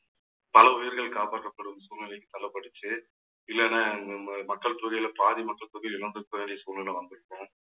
பல உயிர்கள் காப்பாற்றப்படும் சூழ்நிலைக்கு தள்ள பட்டுச்சு இல்லேன்னா நம்ம மக்கள் தொகையில பாதி மக்கள் தொகை இழந்துருக்க வேண்டிய சூழ்நிலை வந்திருக்கும்